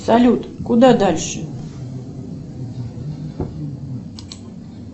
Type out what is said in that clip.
салют куда дальше